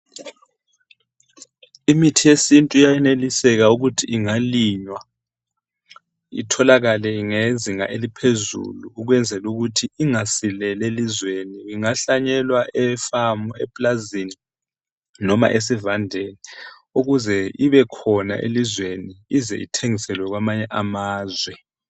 Imithi yesintu iyayeneliseka ukuthi ingalinywa itholakale ngezinga eliphezulu, ukwezela ukuthi ingasileli elizweni. Ingahlanyelwa efamu, epulazini, noma esivandeni ukuze ibekhona elizweni, ize ithengiselwe kwamanye amazwe.